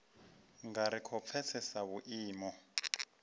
nga ri khou pfesesa vhuimo